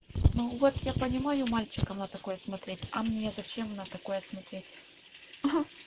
ну вот я понимаю мальчикам на такое смотреть а мне зачем на такое смотреть